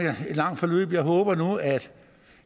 et langt forløb jeg håber nu at